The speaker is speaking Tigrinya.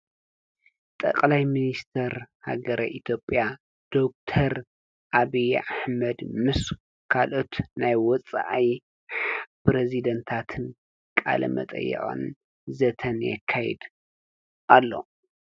ጠቐላይ ምንስተር ሃገረ ኢቴጴያ ደር ኣብያ ኣሕመድ ምስ ካልኦት ናይ ወፅኣይ ጵሬዝዴንታትን ቃለ መጠየዖን ዘተን ካይድ ኣሎ።